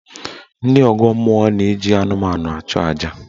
Ndị ọgọ mmụọ na-eji anụmanụ achụ aja.